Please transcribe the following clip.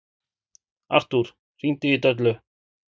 Artúr, hringdu í Döllu.